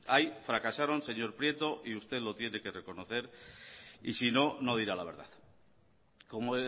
ahí fracasaron señor prieto y usted lo tiene que reconocer y si no no dirá la verdad como